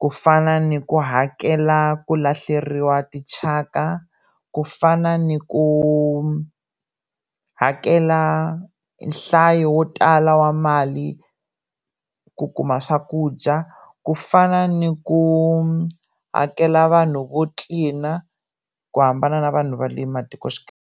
ku fana ni ku hakela ku lahleriwa tityhaka, ku fana ni ku hakela nhlayo wo tala wa mali ku kuma swakudya, ku fana ni ku hakela vanhu vo tlilina ku hambana na vanhu va le matikoxikaya.